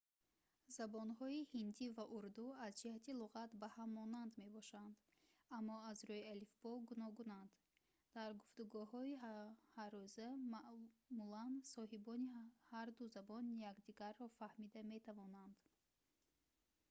забонҳои ҳиндӣ ва урду аз ҷиҳати луғат ба ҳам монанд мебошанд аммо аз рӯи алифбо гуногунанд дар гуфтугӯҳои ҳаррӯза маъмулан соҳибони ҳарду забон якдигарро фаҳмида метавонанд